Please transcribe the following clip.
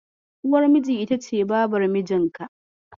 Uwar miji ita ce Babar mijinka.